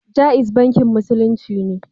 Jaiz bankin Musulunci ne.